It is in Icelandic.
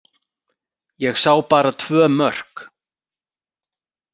Ég sá bara tvö mörk.